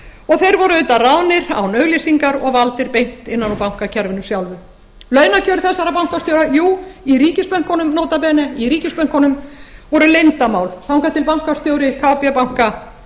og þeir voru auðvitað ráðnir án auglýsingar og valdir beint innan úr bankakerfinu sjálfu launakjör þessara bankastjóra jú í ríkisbönkunum nota bene í ríkisbönkunum voru leyndarmál þangað til bankastjóri kb banka